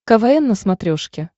квн на смотрешке